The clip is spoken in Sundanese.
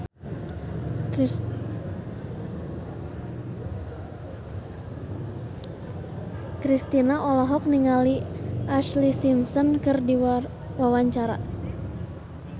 Kristina olohok ningali Ashlee Simpson keur diwawancara